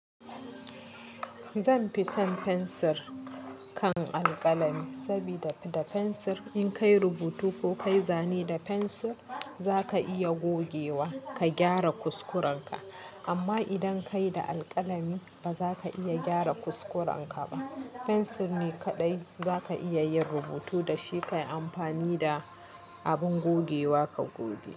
Zan fi son fensir kan alƙalami, sabida da fensir in kai rubutu ko kai zane da fensir, za ka iya gogewa ka gyara kuskurenka. Amma idan ka yi da alƙalami, ba za ka iya gyara kuskurenka ba. Fensir ne kaɗai za ka iya yin rubutu da shi ka yi amfani da abin gogewa ka goge.